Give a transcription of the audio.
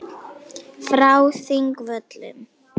Frá Þingvöllum.